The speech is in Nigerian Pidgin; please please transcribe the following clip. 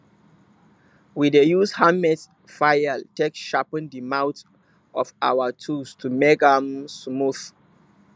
we dey use handmade file take sharpen the mouth of our tools to make am smaooth